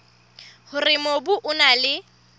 hore mobu o na le